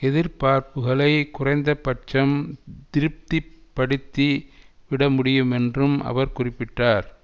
எதிர்பார்ப்புக்களை குறைந்தபட்சம் திருப்தி படுத்தி விடமுடியுமென்றும் அவர் குறிப்பிட்டார்